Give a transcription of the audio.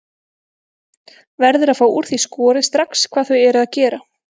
Verður að fá úr því skorið strax hvað þau eru að gera.